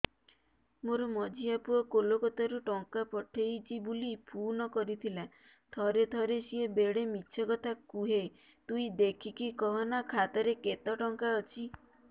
ମୋର ମଝିଆ ପୁଅ କୋଲକତା ରୁ ଟଙ୍କା ପଠେଇଚି ବୁଲି ଫୁନ କରିଥିଲା ଥରେ ଥରେ ସିଏ ବେଡେ ମିଛ କଥା କୁହେ ତୁଇ ଦେଖିକି କହନା ଖାତାରେ କେତ ଟଙ୍କା ଅଛି